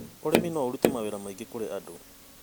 ũrĩmi no ũrute mawĩra maingĩ kũrĩ andũ.